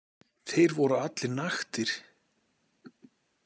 Þeir voru allir naktir.